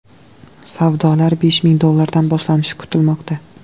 Savdolar besh ming dollardan boshlanishi kutilmoqda.